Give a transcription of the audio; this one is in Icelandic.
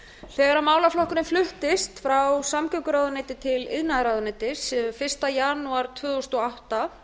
þegar málaflokkurinn fluttist frá samgönguráðuneyti til iðnaðarráðuneytis fyrsta janúar tvö þúsund og átta